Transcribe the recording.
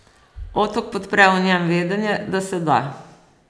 Otok podpre v njem vedenje, da se da.